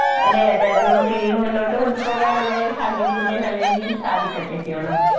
അതെയതെ അത് നമുക്കിനിയും മുന്നോട്ടു കൊണ്ടു പോകാനങ്ങനെ സാങ്കേതികവിദ്യ നല്ല രീതിയിൽ സാധിക്കട്ടെ ഫിയോണ.